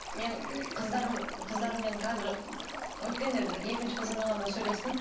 мен қыздарым қыздарыммен қазір өткенде бір екінші қызыммен ғана сөйлестім